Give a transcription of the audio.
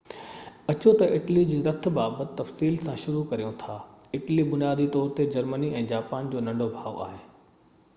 اچو تہ اٽلي جي رٿ بابت تفصيل سان شروع ڪريون ٿا اٽلي بنيادي طور تي جرمني ۽ جاپان جو ننڍو ڀاءُ هو